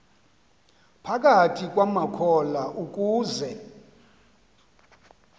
phakathi kwamakholwa ukuze